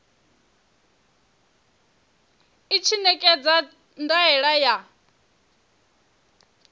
i tshi ṋekedza ndaela ya